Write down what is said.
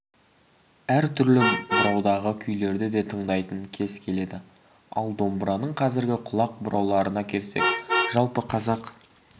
әртүрлі бұраудағы күйлерді де тыңдайтын кез келеді ал домбыраның қазіргі құлақ бұрауларына келсек жалпы қазақ